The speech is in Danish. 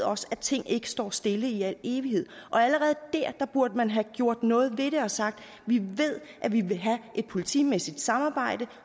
også at ting ikke står stille i al evighed og allerede dér burde man have gjort noget ved det og sagt vi ved at vi vil have et politimæssigt samarbejde